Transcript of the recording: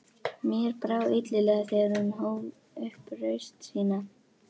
Mér brá illilega þegar hún hóf upp raust sína